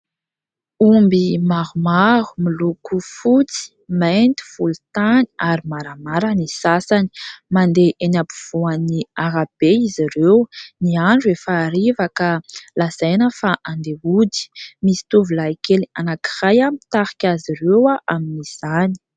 Omby maromaro miloko fotsy, mainty, volotany ary maramara ny sasany mandeha eny ampivoan'ny arabe izy ireo ; ny andro efa hariva ka lazaina fa andea ody misy tovolahy kely anankiray mitarika azy ireo amin'izany.